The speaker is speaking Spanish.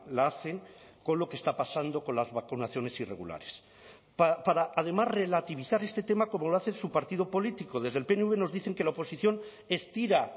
la hacen con lo que está pasando con las vacunaciones irregulares para además relativizar este tema como lo hace su partido político desde el pnv nos dicen que la oposición estira